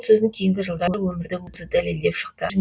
сөзін кейінгі жылдары өмірдің өзі дәлелдеп шықты